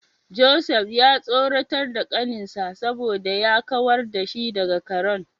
Joseph ya tsoratar da kaninsa saboda ya kawar da shi daga karen.